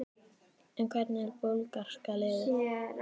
En hvernig er búlgarska liðið?